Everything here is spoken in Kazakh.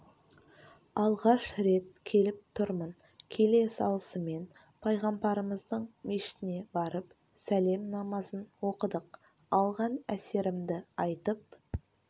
алғаш рет келіп тұрмын келе салысымен пайғамбарымыздың мешітіне барып сәлем намазын оқыдық алған әсерімді айтып